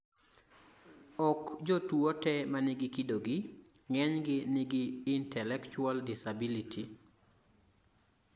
ok jotuwo te manigi kidogi, ng'enygi nigi intellectual disability